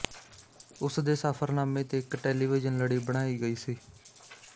ਉਸ ਦੇ ਸਫ਼ਰਨਾਮੇ ਤੇ ਇੱਕ ਟੈਲੀਵਿਜ਼ਨ ਲੜੀ ਬਣਾਈ ਗਈ ਸੀ